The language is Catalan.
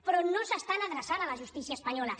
però no s’estan adreçant a la justícia espanyola